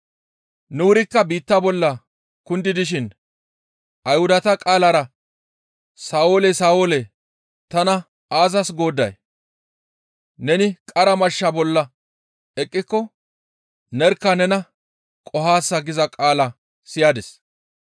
Nu wurikka biitta bolla kundi dishin Ayhudata qaalara, ‹Sa7oole! Sa7oole! Tana aazas goodday? Neni qara mashsha bolla eqqiko nerkka nena qohaasa› giza qaala siyadis.